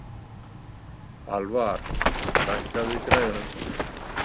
Alvar, lækkaðu í græjunum.